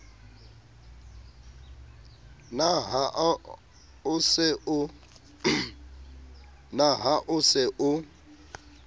na ha o se o